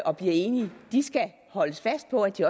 og bliver enige de skal holdes fast på at de